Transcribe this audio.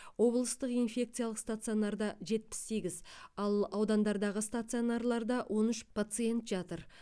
облыстық инфекциялық стационарда жетпіс сегіз ал аудандардағы стационарларда он үш пациент жатыр